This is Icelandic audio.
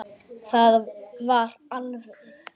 Það var alvöru.